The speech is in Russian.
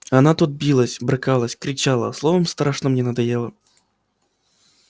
она тут билась брыкалась кричала словом страшно мне надоела